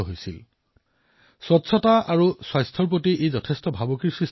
ই স্বচ্ছতা আৰু স্বাস্থ্যৰ প্ৰতিও ভাবুকিৰ সৃষ্টি কৰিছিল